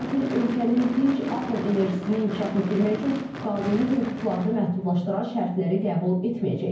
Lakin ölkənin dinc atom enerjisini inkişaf etdirmək üçün qanuni hüquqlarını məhdudlaşdıran şərtləri qəbul etməyəcək.